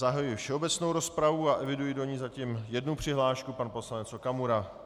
Zahajuji všeobecnou rozpravu a eviduji do ní zatím jednu přihlášku - pan poslanec Okamura.